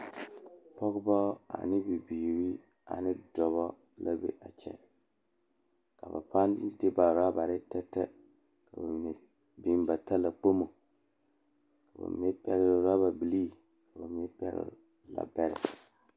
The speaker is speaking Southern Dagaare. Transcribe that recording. Pͻgebͻ ane bibiiri ane dͻbͻ la be a kyԑ. Ka ba paa de orabare tԑtԑ ka ba mine biŋ ba talakpomo. Ka ba mine pԑgele orababilii, ka ba mine pԑgele laabԑrԑ.